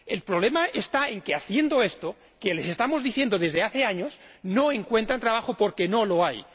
El problema está en que haciendo esto ―que les estamos diciendo desde hace años― no encuentran trabajo porque no lo hay.